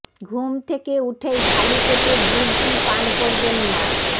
ঘুম থেকে উঠেই খালি পেটে গ্রিন টি পান করবেন না